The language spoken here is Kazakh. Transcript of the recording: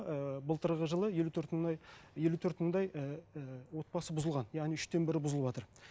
ыыы былтырғы жылы елу төрт мыңдай елу төрт мыңдай ііі отбасы бұзылған яғни үштен бірі бұзылватыр